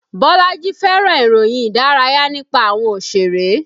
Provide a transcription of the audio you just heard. Bolaji fẹ́ràn ìròyìn Ìdárayá nípa àwọn Òṣèré